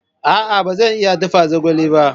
A'a ba zan iya dafa zogale ba.